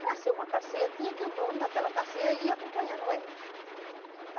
Para ser uma carceia, tinha que o dono daquela carceia ir acompanhando ela.